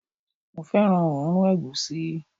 mo fẹràn oòrùn egusi